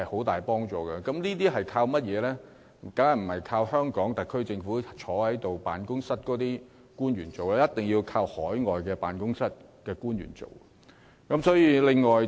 當然不是倚靠坐在特區政府辦公室的官員進行，而一定有賴海外經貿辦人員從中協助。